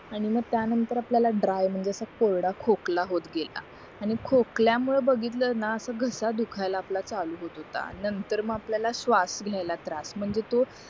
आणि मग त्या नतंर आपल्यला ड्राय म्हणजे असं कोरडा खोकला होत गेला आणि खोकल्या मुळे बघितला ना असं घसा दुखायला होत होता नंतर मग आपल्याला श्वास म्हणजे तो